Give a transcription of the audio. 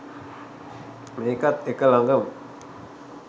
මේකත් එක ලඟම